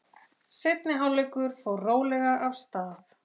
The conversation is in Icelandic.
Seinni hálfleikur fór rólega af stað.